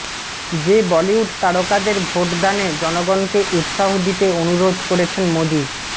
যে বলিউড তারকাদের ভোটদানে জনগণকে উৎসাহ দিতে অনুরোধ করেছেন মোদি